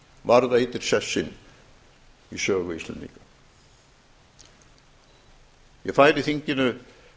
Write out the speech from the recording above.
varðveitir sess sinn í sögu íslendinga ég færi þinginu